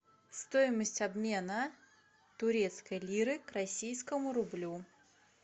стоимость обмена турецкой лиры к российскому рублю